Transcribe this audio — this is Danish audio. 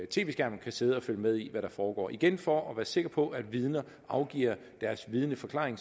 tv skærm kan sidde og følge med i hvad der foregår igen for at være sikker på at vidner afgiver deres vidneforklaring